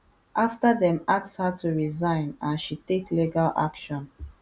afta dem ask her to resign and she take legal action